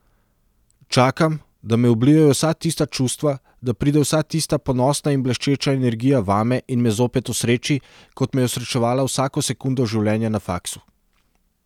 Čakam, da me oblijejo vsa tista čustva, da pride vsa tista ponosna in bleščeča energija vame in me zopet osreči, kot me je osrečevala vsako sekundo življenja na faksu.